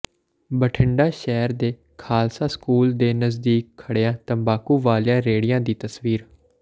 ਬਠਿੰਡਾ ਸ਼ਹਿਰ ਦੇ ਖ਼ਾਲਸਾ ਸਕੂਲ ਦੇ ਨਜ਼ਦੀਕ ਖੜ੍ਹੀਆਂ ਤੰਬਾਕੂ ਵਾਲੀਆਂ ਰੇਹੜੀਆਂ ਦੀ ਤਸਵੀਰ